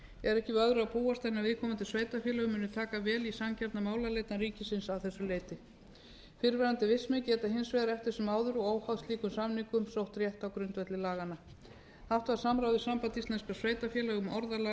er ekki við öðru að búast en að viðkomandi sveitarfélög muni taka vel í sanngjarna málaleitan ríkisins að þessu leyti fyrrverandi vistmenn geta hins vegar eftir sem áður og óháð slíkum samningum sótt rétt á grundvelli laganna haft var samráð við samband íslenskra sveitarfélaga um orðalag